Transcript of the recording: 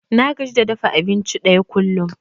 Na gaji da dafa abinci ɗaya kullum.